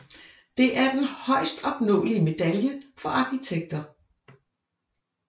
Det er den højest opnåelige medalje for arkitekter